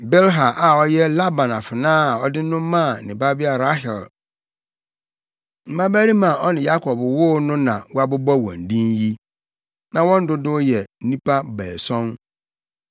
Bilha a ɔyɛ Laban afenaa a ɔde no maa ne babea Rahel mmabarima a ɔne Yakob woo no na wɔabobɔ wɔn din yi. Na wɔn dodow yɛ nnipa baason.